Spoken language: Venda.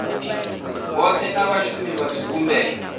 vhothe na vhashumi vha zwivhumbeo